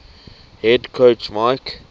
head coach mike